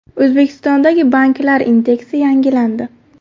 O‘zbekistondagi banklar indeksi yangilandi.